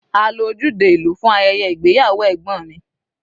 A lo ojúde ìlú fún ayẹyẹ ìgbéyàwó ẹ̀gbọ́n mi.